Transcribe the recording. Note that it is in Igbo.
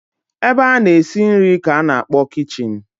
Ebe a na-esi nri ka a na-akpọ kichin.